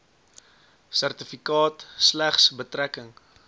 sertifikaat slegs betrekking